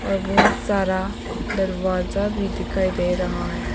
और बहुत सारा दरवाजा भी दिखाई दे रहा है।